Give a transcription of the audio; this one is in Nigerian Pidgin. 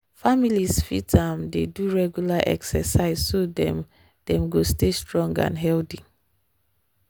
families fit um dey do regular exercise so dem dem go stay strong and healthy.